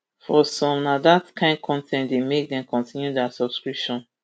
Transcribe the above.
for some na dat kain con ten t dey make dem continue dia subscription